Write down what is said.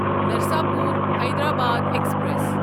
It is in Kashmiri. نرساپور حیدرآباد ایکسپریس